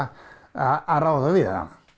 að ráða við hana